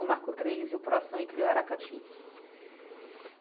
o Marco Três e o Proação e cria o Aracati.